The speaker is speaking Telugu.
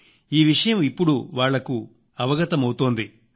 ఈ విషయం ఇప్పుడు వాళ్లకు అవగతం అవుతోంది